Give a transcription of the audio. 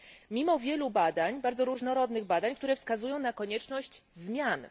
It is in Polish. mimo wielu badań, bardzo różnorodnych badań, które wskazują na konieczność zmian.